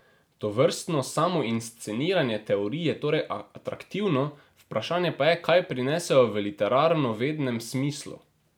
Tovrstno samoinsceniranje teorij je torej atraktivno, vprašanje pa je, kaj prinesejo v literarnovednem smislu.